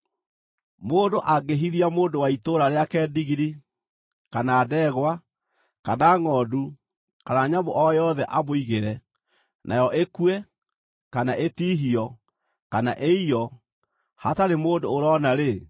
“Mũndũ angĩhithia mũndũ wa itũũra rĩake ndigiri, kana ndegwa, kana ngʼondu kana nyamũ o yothe amũigĩre, nayo ĩkue, kana ĩtihio, kana ĩiywo, hatarĩ mũndũ ũroona-rĩ,